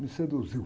me seduziu.